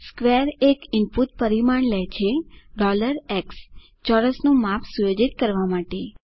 square એક input પરિમાણ લે છે x ચોરસનું માપ સુયોજિત કરવા માટે